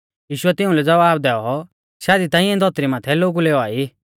यीशुऐ तिऊं लै ज़वाब दैऔ शादी ता इऐं धौतरी माथै लोगु लै औआ ई